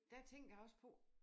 Der tænker jeg også på